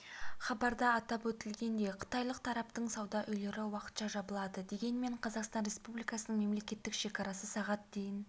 хабарда атап өтілгендей қытайлық тараптың сауда үйлері уақытша жабылады дегенмен қазақстан республикасының мемлекеттік шекарасы сағат дейін